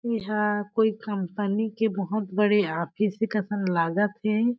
एहाँ कोई कंपनी के बहोत बड़े ऑफिस ए कसन लागत हे।